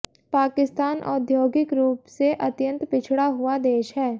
पाकिस्तान औद्योगिक रूप से अत्यंत पिछड़ा हुआ देश है